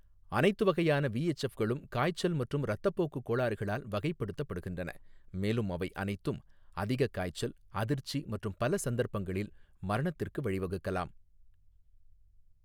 அனைத்து வகையான விஎச்எஃப் களும் காய்ச்சல் மற்றும் இரத்தப்போக்கு கோளாறுகளால் வகைப்படுத்தப்படுகின்றன, மேலும் அவை அனைத்தும் அதிக காய்ச்சல், அதிர்ச்சி மற்றும் பல சந்தர்ப்பங்களில் மரணத்திற்கு வழி வகுக்கலாம்.